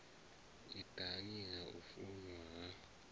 nṱhani ha u funwa ha